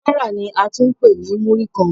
Ogún náírà ni a tún ń pè ní Múrí-kan.